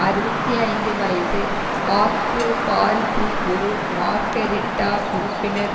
அறுபத்தி ஐந்து வயது ஆர்ட்ரோ பாரிசி ஒரு மார்கெரிட்டா உறுப்பினர்